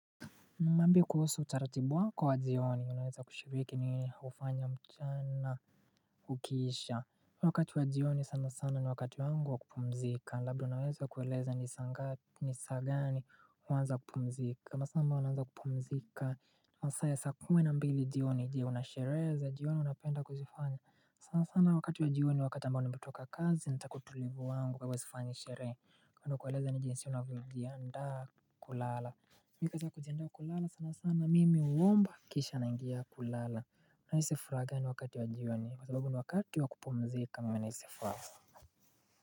Niambie kuhusu utaratibu wako wa jioni unaweza kushiriki ni nini hufanya mchana ukiisha. Wakati wa jioni sana sana ni wakati wangu wa kupumzika. Labda unaweza kueleza ni sanga ni saa gani huanza kupumzika. Masaa ambayo naanaza kupumzika. Masaa ya sa kuwmina mbili jioni ijiwa na sherehe za. Jioni unapenda kuzifanya. Sana sana wakati wa jioni wakati ambao nimetoka kazi natakautulivu wangu kwa kwa hivo sifanyi sherehe. Kando kueleza ni jinsi unavyo jiandaa kulala. Mika za kujiendea kulala sana sana mimi uomba kisha naingia kulala Nahisi furaha gani wakati wa jioni kwa sababu wakati wakupumzika maana nahisi furaha.